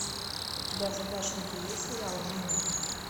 у тебя в загашнике есть сериал нина